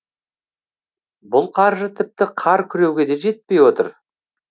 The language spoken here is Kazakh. бұл қаржы тіпті қар күреуге де жетпей отыр